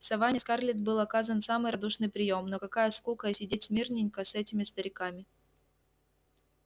в саванне скарлетт был оказан самый радушный приём но какая скука сидеть смирненько с этими стариками